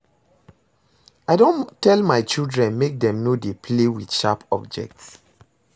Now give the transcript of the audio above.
I don tell my children make dem no dey play with sharp objects